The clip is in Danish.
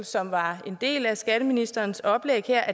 som var en del af skatteministerens oplæg her